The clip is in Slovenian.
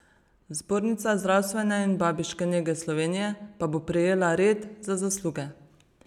Zbornica zdravstvene in babiške nege Slovenije pa bo prejela red za zasluge.